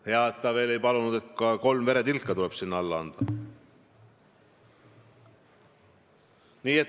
Hea veel, et ta ei palunud minult ka kolme veretilka.